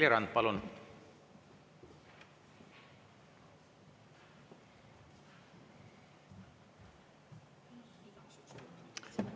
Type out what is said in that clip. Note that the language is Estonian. Reili Rand, palun!